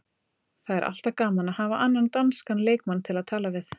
Það er alltaf gaman að hafa annan danskan leikmann til að tala við.